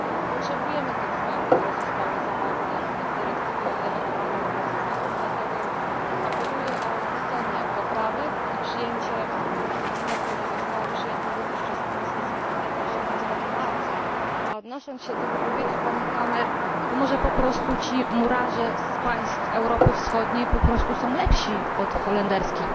Potrzebujemy tych zmian, które zostały zawarte w dyrektywie o delegowaniu pracowników, dlatego apeluję o odrzucenie poprawek i przyjęcie porozumienia, które zostało przyjęte również przez Komisję Zatrudnienia 18 marca, a odnosząc się do wypowiedzi pani van der Kammen może po prostu ci murarze z państw Europy Wschodniej po prostu są lepsi od murarzy holenderskich.